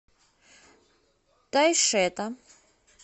тайшета